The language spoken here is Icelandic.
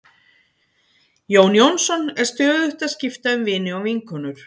Jón Jónsson er stöðugt að skipta um vini og vinkonur.